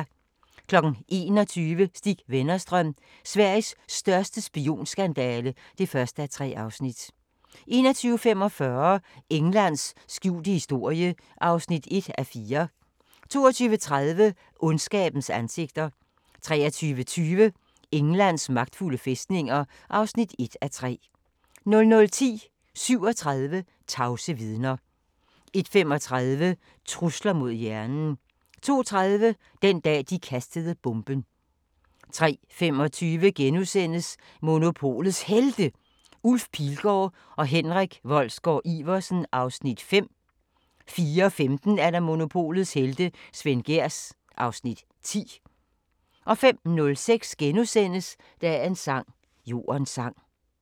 21:00: Stig Wennerstrøm – Sveriges største spionskandale (1:3) 21:45: Englands skjulte historie (1:4) 22:30: Ondskabens ansigter 23:20: Englands magtfulde fæstninger (1:3) 00:10: 37 tavse vidner 01:35: Trusler mod hjernen 02:30: Den dag, de kastede bomben 03:25: Monopolets Helte – Ulf Pilgaard og Henrik Wolsgaard-Iversen (Afs. 5)* 04:15: Monopolets helte - Svend Gehrs (Afs. 10) 05:06: Dagens sang: Jordens sang *